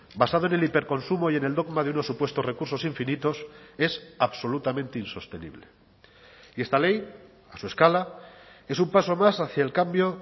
basado en el hiperconsumo y en el dogma de unos supuestos recursos infinitos es absolutamente insostenible y esta ley a su escala es un paso más hacia el cambio